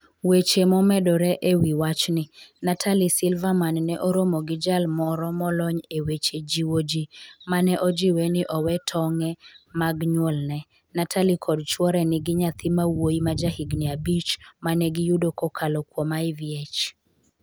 weche momedore e wi wachni. Natalie Silverman ne oromo gi jal moro molony e weche jiwo ji mane ojiwe ni owe tong'e mag nyuolne. Natalie kod chwore nigi nyathi ma wuoyi ma ja higni abich mane giyudo kokalo kuom IVF.